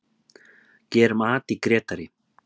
Gerum at í Grétari!